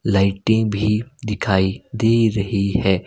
लाइटे भी दिखाई दे रही है।